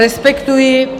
Respektuji.